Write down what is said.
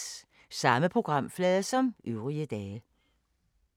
Samme programflade som øvrige dage